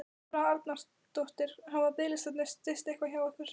Þóra Arnórsdóttir: Hafa biðlistarnir styst eitthvað hjá ykkur?